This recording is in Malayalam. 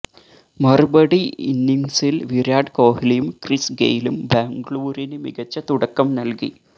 മറുപടി ഇന്നിംഗ്സില് വിരാട് കോഹ്ലിയും ക്രിസ് ഗെയിലും ബാംഗ്ലൂരിന് മികച്ച തുടക്കം നല്കി